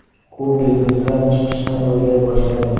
U biznesdan chiqishni o‘ylay boshlagan.